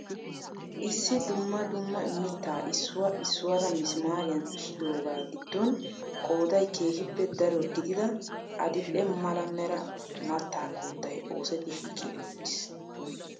Issi dumma dumma mittaa issuwaa issuwaara misimaariyaan xishshidoogaa gidon qooday keehiippe daro gidida adildhdhe mala mera mattaa koottay osetti shiiqi uttiis.